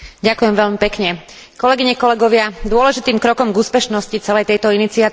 Dôležitým krokom k úspešnosti celej tejto iniciatívy bolo uvedenie Lisabonskej zmluvy do života.